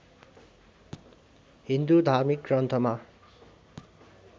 हिन्दू धार्मिक ग्रन्थमा